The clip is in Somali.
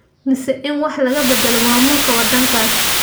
mise in wax laga bedelo maamulka wadankas?